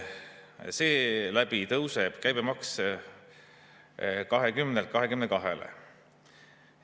Seeläbi tõuseb käibemaks 20%‑lt 22%‑le.